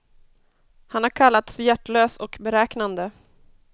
Han har kallats hjärtlös och beräknande.